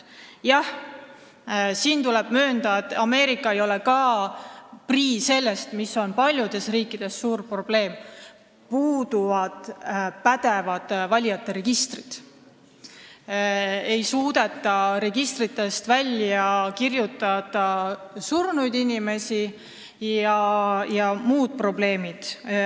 Jah, tuleb möönda, et ka Ameerika ei ole prii sellest, mis on probleem paljudes riikides: puuduvad pädevad valijate registrid, registritest ei suudeta õigel ajal kustutada surnud inimesi ja on muud probleemid.